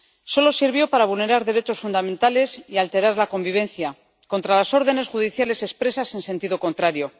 Solo sirvió para vulnerar derechos fundamentales y alterar la convivencia, contra las órdenes judiciales expresas en sentido contrario.